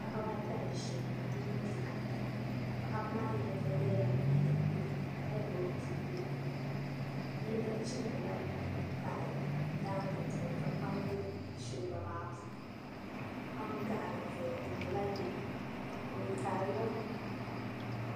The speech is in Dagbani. Paɣaba ata n ʒiya bi mini bihi ata Paɣaba maa ni yino yɛla liiga piɛlli ka gbubi bia o nuuni yinga chimdila pai daangi puuni ka kpam bɛ shilba maa puuni kpam gaɣali ʒɛya di nyɛla yɛlo o yaarila